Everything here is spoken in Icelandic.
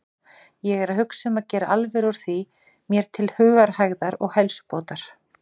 Ég er að hugsa um að gera alvöru úr því mér til hugarhægðar og heilsubótar.